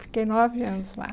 Fiquei nove anos lá.